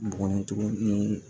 Bɔgɔ tuguni